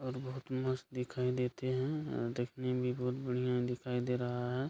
और बहुत मस्त दिखाई देते हैं अ देखने में बहुत बढ़िया दिखाई दे रहा है।